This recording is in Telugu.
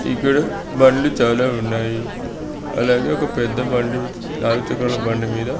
ఇక్కడ బండ్లు చాలా ఉన్నాయి. అలాగే ఒక పెద్ద బండి నాలుగు చక్రాల బండి మీద--